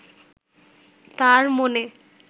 তাঁর মনে